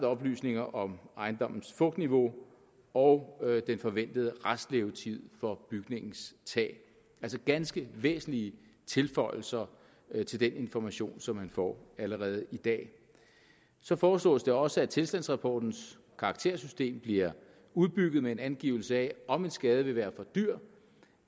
oplysninger om ejendommens fugtniveau og den forventede restlevetid for bygningens tag altså ganske væsentlige tilføjelser til den information som man får allerede i dag så foreslås det også at tilstandsrapportens karaktersystem bliver udbygget med en angivelse af om en skade vil være for dyr